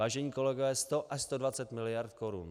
Vážení kolegové, 100 až 120 mld. korun!